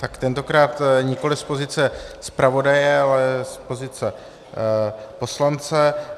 Tak tentokrát nikoli z pozice zpravodaje, ale z pozice poslance.